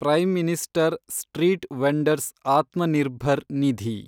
prime minister street vendors Atmanirbhar Nidhi